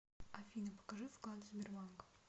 афина покажи вклады сбербанка